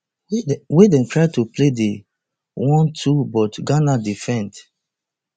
wey dem try to play di onetwo but ghana defend